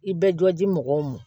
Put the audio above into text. I bɛ jɔ di mɔgɔw ma